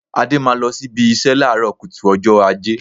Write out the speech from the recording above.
Adé máa lọ síbi ìṣe láàárọ̀ kùtù ọjọ́ Ajé